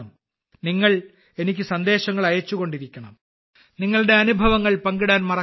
നിങ്ങൾ എനിക്ക് സന്ദേശങ്ങൾ അയച്ചുകൊണ്ടിരിക്കണം നിങ്ങളുടെ അനുഭവങ്ങൾ പങ്കിടാൻ മറക്കരുത്